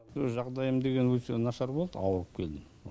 өз жағдайым деген өте нашар болды ауырып келдім